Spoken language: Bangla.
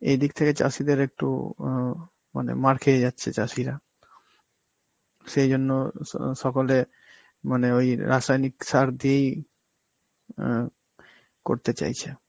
এই দিক থেকে চাষীদের একটু অ মানে মার খেয়ে যাচ্ছে চাষীরা. সেই জন্য স~ সকলে মানে ওই রাসায়নিক সার দিয়েই আঁ করতে চাইছে.